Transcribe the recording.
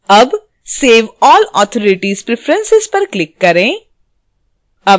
अब save all authorities preferences पर click करें